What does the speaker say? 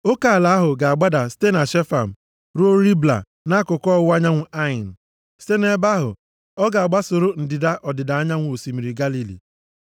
Oke ala ahụ ga-agbada site Shefam ruo Ribla nʼakụkụ ọwụwa anyanwụ Ain. Site nʼebe ahụ, ọ ga-agbasoro ndịda ọdịda anyanwụ Osimiri Galili.